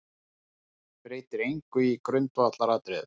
Breytir engu í grundvallaratriðum